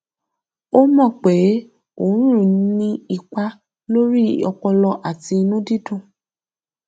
ó mọ pé oorun ń ní ipa lórí ọpọlọ àti inú dídùn